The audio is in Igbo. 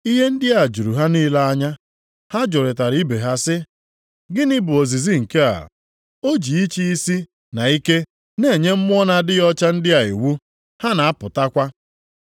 Ihe ndị a juru ha niile anya, ha jụrịtara ibe ha sị, “Gịnị bụ ozizi nke a? O ji ịchị isi na ike na-enye mmụọ na-adịghị ọcha ndị a iwu, ha na-apụtakwa!”